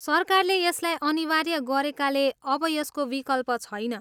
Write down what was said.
सरकारले यसलाई अनिवार्य गरेकाले अब यसको विकल्प छैन।